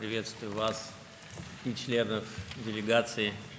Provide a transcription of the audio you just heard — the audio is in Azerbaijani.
Sizi və nümayəndə heyətinin üzvlərini salamlayıram.